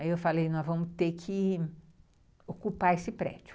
Aí eu falei, nós vamos ter que ocupar esse prédio.